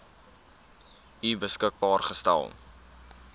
u beskikbaar gestel